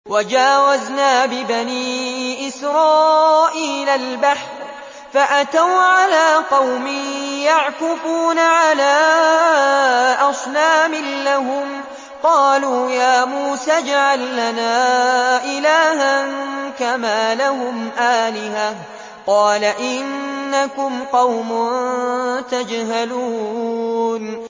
وَجَاوَزْنَا بِبَنِي إِسْرَائِيلَ الْبَحْرَ فَأَتَوْا عَلَىٰ قَوْمٍ يَعْكُفُونَ عَلَىٰ أَصْنَامٍ لَّهُمْ ۚ قَالُوا يَا مُوسَى اجْعَل لَّنَا إِلَٰهًا كَمَا لَهُمْ آلِهَةٌ ۚ قَالَ إِنَّكُمْ قَوْمٌ تَجْهَلُونَ